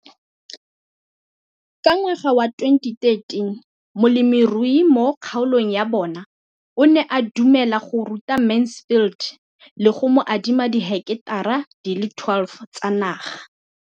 Ka ngwaga wa 2013, molemirui mo kgaolong ya bona o ne a dumela go ruta Mansfield le go mo adima di heketara di le 12 tsa naga.